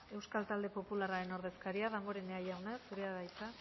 euskal talde popularraren ordezkaria damborenea jauna zurea da hitza